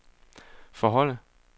forholde